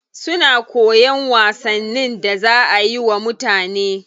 Suna koyan wasannin da za ayi wa mutane.